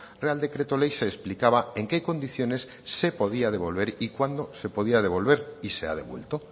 real decreto ley se explicaba en qué condiciones se podía devolver y cuándo se podía devolver y se ha devuelto